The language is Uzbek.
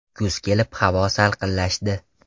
Kuz kelib havo salqinlashdi.